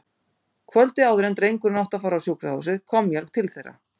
Kvöldið áður en drengurinn átti að fara í sjúkrahúsið kom ég til þeirra.